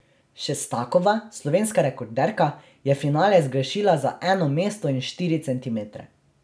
Šestakova, slovenska rekorderka, je finale zgrešila za eno mesto in štiri centimetre.